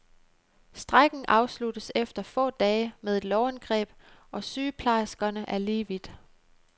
Strejken afsluttes efter få dage med et lovindgreb, og sygeplejerskerne er lige vidt.